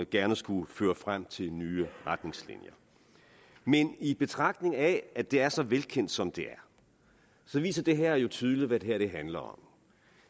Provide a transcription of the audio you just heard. gerne skulle føre frem til nye retningslinjer men i betragtning af at det er så velkendt som det her viser det her helt tydeligt hvad det handler om